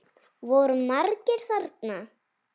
Voru margir þarna?